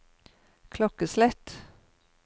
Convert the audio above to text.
klokkeslett